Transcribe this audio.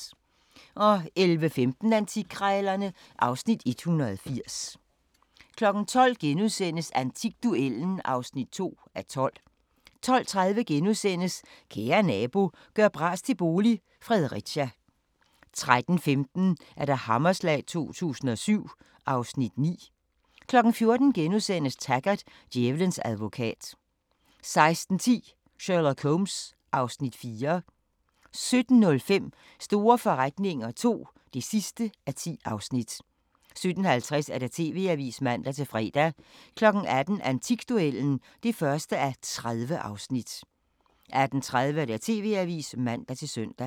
11:15: Antikkrejlerne (Afs. 180) 12:00: Antikduellen (2:12)* 12:30: Kære nabo – gør bras til bolig – Fredericia * 13:15: Hammerslag 2007 (Afs. 9) 14:00: Taggart: Djævelens advokat * 16:10: Sherlock Holmes (Afs. 4) 17:05: Store forretninger II (10:10) 17:50: TV-avisen (man-fre) 18:00: Antikduellen (1:30) 18:30: TV-avisen (man-søn)